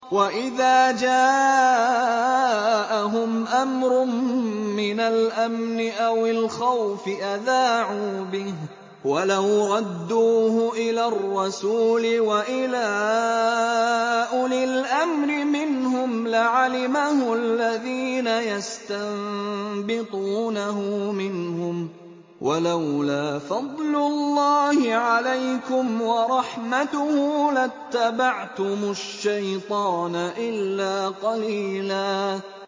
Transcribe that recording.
وَإِذَا جَاءَهُمْ أَمْرٌ مِّنَ الْأَمْنِ أَوِ الْخَوْفِ أَذَاعُوا بِهِ ۖ وَلَوْ رَدُّوهُ إِلَى الرَّسُولِ وَإِلَىٰ أُولِي الْأَمْرِ مِنْهُمْ لَعَلِمَهُ الَّذِينَ يَسْتَنبِطُونَهُ مِنْهُمْ ۗ وَلَوْلَا فَضْلُ اللَّهِ عَلَيْكُمْ وَرَحْمَتُهُ لَاتَّبَعْتُمُ الشَّيْطَانَ إِلَّا قَلِيلًا